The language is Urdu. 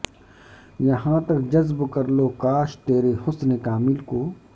یہاں تک جذب کرلوں کاش ترے حسن کامل کو